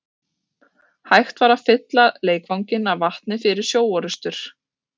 Hægt var að fylla leikvanginn af vatni fyrir sjóorrustur.